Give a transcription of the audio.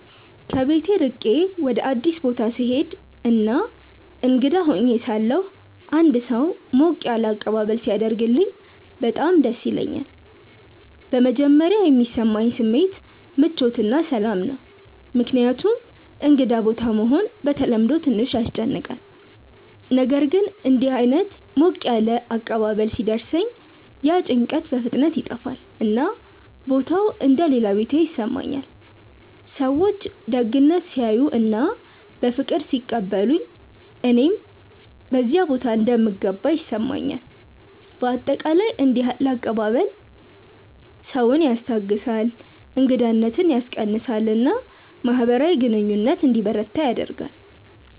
ከቤት ርቄ ወደ አዲስ ቦታ ስሄድ እና እንግዳ ሆኜ ሳለሁ አንድ ሰው ሞቅ ያለ አቀባበል ሲያደርግልኝ በጣም ደስ ይለኛል። በመጀመሪያ የሚሰማኝ ስሜት ምቾት እና ሰላም ነው፣ ምክንያቱም እንግዳ ቦታ መሆን በተለምዶ ትንሽ ያስጨንቃል። ነገር ግን እንዲህ ዓይነት ሞቅ ያለ አቀባበል ሲደርሰኝ ያ ጭንቀት በፍጥነት ይጠፋል፣ እና ቦታው እንደ “ ሌላ ቤቴ ” ይሰማኛል። ሰዎች ደግነት ሲያሳዩ እና በፍቅር ሲቀበሉኝ እኔም በዚያ ቦታ እንደምገባ ይሰማኛል። በአጠቃላይ እንዲህ ያለ አቀባበል ሰውን ያስታግሳል፣ እንግዳነትን ያስቀንሳል እና ማህበራዊ ግንኙነት እንዲበረታ ያደርጋል።